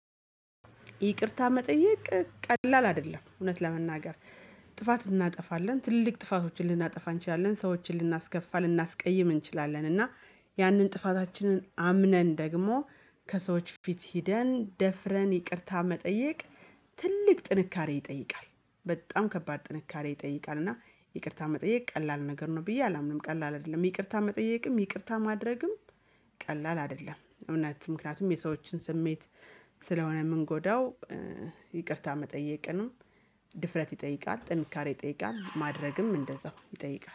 ይቅርታ መጠየቅ ቀላል አይደለም እውነት ለመናገር። ጥፋት እናጠፋለን ትልቅ ጥፋቶችን ልናጠፋ እንችላለን ሰዎችን ልናስከፋ ልናስቀይም እንችላለን። እና ያንን ጥፋታችንን አምነን ደግሞ ከሰዎች ፊት ሄደን ደፍረን ይቅርታ መጠየቅ። ትልቅ ጥንካሬ ይጠይቃል በጣም ከባድ ጥንካሬ ይጠይቃል። እና ይቅርታ መጠየቅ ቀላል ነገር ነው ብዬ አላምንም ቀላል አይደለም ይቅርታ መጠየቅም ይቅርታ ማድረግም ቀላል አይደለም። እውነት ምክንያቱም የሰዎችን ስሜት ስለሆነ የምንጎዳው። ይቅርታ መጠየቅንም ድፍረት ይጠይቃል ጥንካሬ ይጠይቃል ማድረግም እንደዛው ይጠይቃል